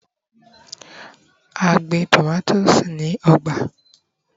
a i gbin tomato ni ọgbà